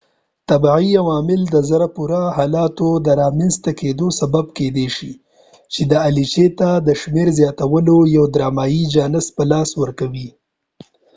طبعی عوامل د زړه پورې حالاتو د رامنځ ته کېدو سبب کېدای شي چې دي الچې ته د شمیر زیاتولو یو ډرامایې جانس په لاس ورکوي